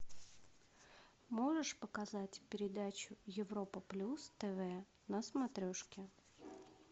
можешь показать передачу европа плюс тв на смотрешке